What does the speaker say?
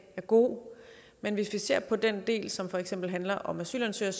er god men hvis vi ser på den del som for eksempel handler om asylansøgere